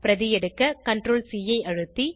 பிரதிஎடுக்க CTRLC ஐ அழுத்தி